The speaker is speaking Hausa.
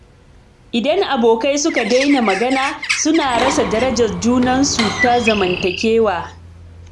Idan abokai suka daina magana, suna rasa darajar junansu ta zamantakewa